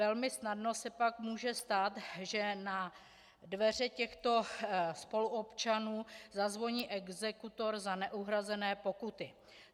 Velmi snadno se pak může stát, že na dveře těchto spoluobčanů zazvoní exekutor za neuhrazené pokuty.